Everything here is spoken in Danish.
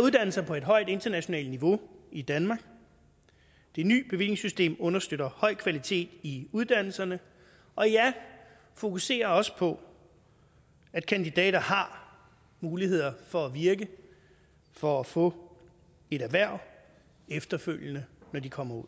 uddannelser på et højt internationalt niveau i danmark det nye bevillingssystem understøtter høj kvalitet i uddannelserne og ja fokuserer også på at kandidater har muligheder for at virke for at få et erhverv efterfølgende når de kommer ud